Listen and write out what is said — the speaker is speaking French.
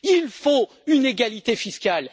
Il faut une égalité fiscale.